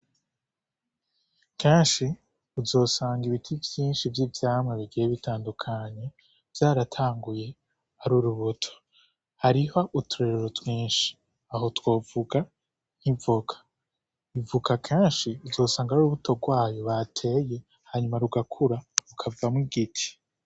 Kenshi uzosanga ibiti vyinshi vy'ivyamwa bigiye bitandukanye vyaratanguye ari urubuto. Hariho uturorero twinshi. Aho twovuga nk'ivoka. Ivoka kenshi uzosanga ari urubuto rwayo bateye, hanyuma rugakura, rukavamwo igiti.